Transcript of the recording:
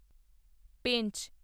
Pench